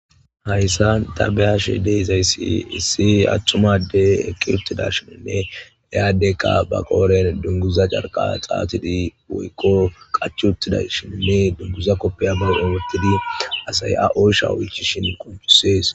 Hayssa ta beyashe deeizaysi si attumade eqqirutida shininne eyaaddekka ba qooren dunguza carqa xaatidi woykqo qachuttida shininne dunguza koppeya may oometidi asay a oosha oychishin qoncusees.